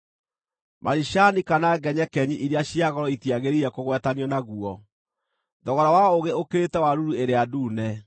Maricani kana ngenyekenyi iria cia goro itiagĩrĩire kũgwetanio naguo; thogora wa ũũgĩ ũkĩrĩte wa ruru ĩrĩa ndune.